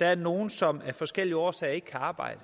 der er nogle som af forskellige årsager ikke kan arbejde